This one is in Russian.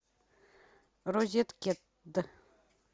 розеткед